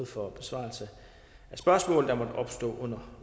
for besvarelse af spørgsmål der måtte opstå under